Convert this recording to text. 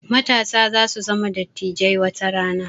Matasa za su zama dattijai watarana